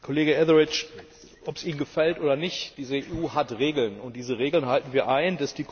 Kollege Etheridge, ob es Ihnen gefällt oder nicht Diese EU hat Regeln, und diese Regeln halten wir ein.